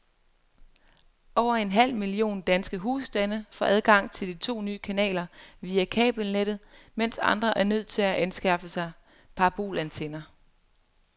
Over en halv million danske husstande får adgang til de to nye kanaler via kabelnettet, mens andre er nødt til at anskaffe sig parabolantenner.